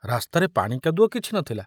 ରାସ୍ତାରେ ପାଣି କାଦୁଅ କିଛି ନଥିଲା।